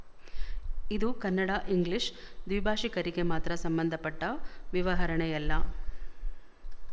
ಇದು ಕನ್ನಡಇಂಗ್ಲಿಶ ದ್ವಿಭಾಶಿಕರಿಗೆ ಮಾತ್ರ ಸಂಬಂಧಪಟ್ಟ ವಿವರಣೆಯಲ್ಲ